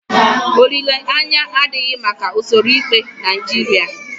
Olileanya adịghị maka usoro ikpe Naijiria.